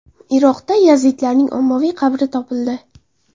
Iroqda yazidlarning ommaviy qabri topildi.